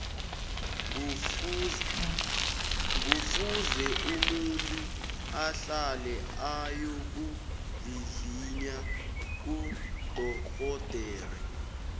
ngufuze umuntu ahlale ayokuvivinya kudorhodere